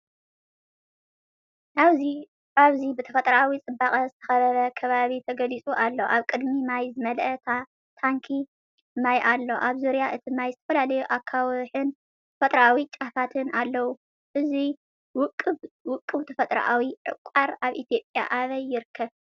ኣብዚ ብተፈጥሮኣዊ ጽባቐ ዝተኸበበ ከባቢ ተገሊጹ ኣሎ። ኣብ ቅድሚት ማይ ዝመልአ ታንኪ ማይ ኣሎ። ኣብ ዙርያ እቲ ማይ ዝተፈላለዩ ኣኻውሕን ተፈጥሮኣዊ ጫፋትን ኣለዉ። እዚ ውቁብ ተፈጥሮኣዊ ዕቋር ኣብ ኢትዮጵያ ኣበይ ይርከብ?